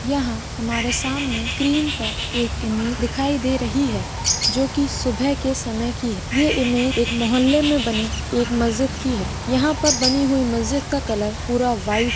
यहाँ हमारे सामने स्क्रीन पे एक इमेज दिखाई दे रही है जो की सुभे के समय की है यह इमेज एक मोहल्ले में बने एक मस्जित की है यहाँ पर बनी हुई मस्जित का कलर पूरा वाइट--